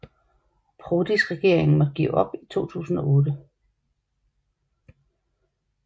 Prodis regering måtte give op i 2008